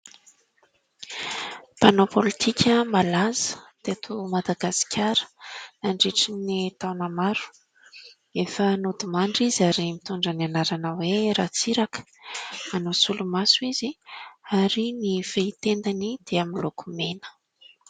Mpanao pôlitika malaza teto Madagasikara nandritra ny taona maro, efa nodimandry izy ary mitondra ny anarana hoe Ratsiraka, manao solomaso izy ary ny fehi-tendany dia miloko mena.